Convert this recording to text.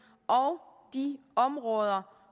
og de områder